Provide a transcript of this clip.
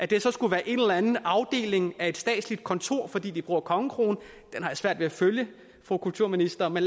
det skulle være en eller anden afdeling af et statsligt kontor fordi de bruger en kongekrone den har jeg svært ved at følge fru kulturminister men